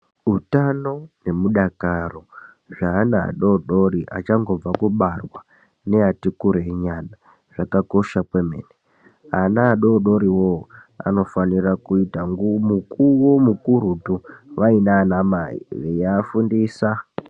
Utano nemudakaro zveana adodori achangobva kubarwa neati kurei nyana zvakakosha kwemene. Ana adodoriwo anofanira kuita mukuwo mukurutu vaina anamai veiafundisa.